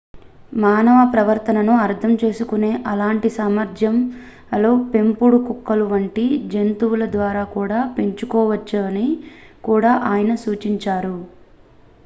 మానవ ప్రవర్తనను అర్థం చేసుకునే అలాంటి సామర్థ్యాలు పెంపుడు కుక్కల వంటి జంతువులద్వారా కూడా పంచుకోబడవచ్చని కూడా ఆయన సూచించారు